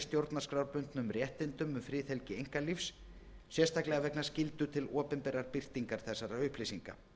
stjórnarskrárbundnum réttindum um friðhelgi einkalífs sérstaklega vegna skyldu til opinberrar birtingar þessa upplýsinga